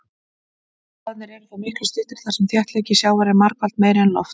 Spaðarnir eru þó miklu styttri þar sem þéttleiki sjávar er margfalt meiri en lofts.